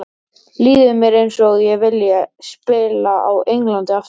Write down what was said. Líður mér eins og ég vilji spila á Englandi aftur?